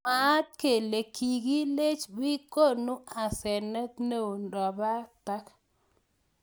Mwaat kele kikilech bik konu asenet neo robatak.